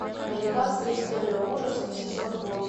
американская история ужасов сезон восемь